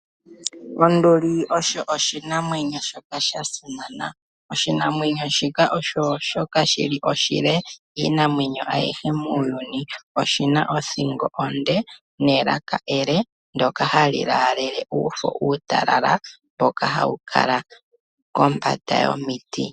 Onduli oyo oshinamwenyo shoka sha simana. Oshinamwenyo osho shoka shi li oshile kiinamwenyo ayihe muuyuni, oshi na othingo onde nelaka ele ndoka hali laalele uufo uutalala mboka hawu kala kombanda yomiti.